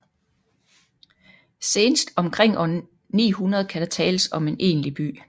Senest omkring år 900 kan der tales om en egentlig by